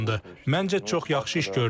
Məncə çox yaxşı iş gördük.